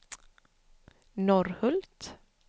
Norrhult